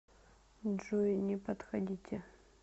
джой не подходите